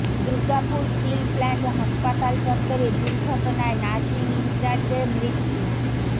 Durgapur steel plant হাসপাতাল চত্বরে দুর্ঘটনায় নার্সিং ইনচার্জের মৃত্যু